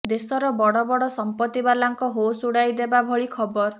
ଦେଶର ବଡ଼ ବଡ଼ ସମ୍ପତ୍ତି ବାଲାଙ୍କ ହୋସ୍ ଉଡାଇ ଦେବା ଭଳି ଖବର